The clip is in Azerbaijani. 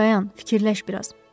Dayan, fikirləş bir az.